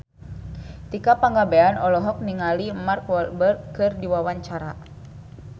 Tika Pangabean olohok ningali Mark Walberg keur diwawancara